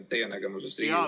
Teie aeg!